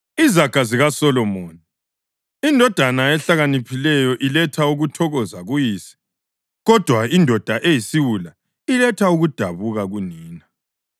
Izaga zikaSolomoni: Indodana ehlakaniphileyo iletha ukuthokoza kuyise, kodwa indoda eyisiwula iletha ukudabuka kunina.